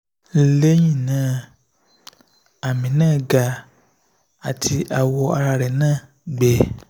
lẹ́yìn náà ami na ga ati awo ara na gbe